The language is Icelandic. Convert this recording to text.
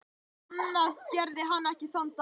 Annað gerði hann ekki þann daginn.